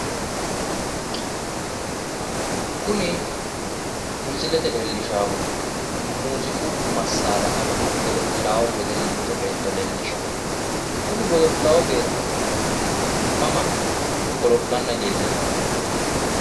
Kuni misilete leellishaahu muuziiqu massara amade godo'lannoha wedellicho beetto leellishshanno kuni godo'lanno beetto Mama godo'lanna leellishshanno?